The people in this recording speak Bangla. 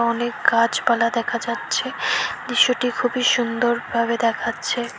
অনেক গাছপালা দেখা যাচ্ছে দৃশ্যটি খুবই সুন্দরভাবে দেখাচ্ছে।